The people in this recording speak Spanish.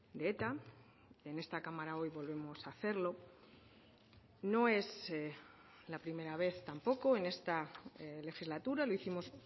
de eta en esta cámara hoy volvemos a hacerlo no es la primera vez tampoco en esta legislatura lo hicimos